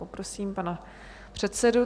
Prosím pana předsedu.